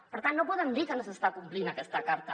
per tant no podem dir que no s’està complint aquesta carta